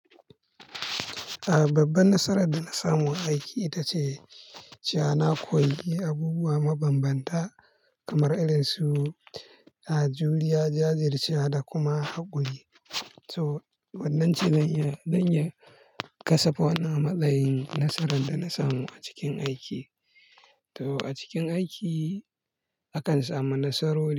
A babbar nasarar da na samu aiki ita ce cewa na koyi abubuwa mabambanta kamar irin su, ajuriya jajircewa da kuma haƙuri. To, wannan ci zanyi, zanyi kasaf wani a matsayin nasarar da na samu a cikin aiki. To a cikin aiki akan samu nasarori.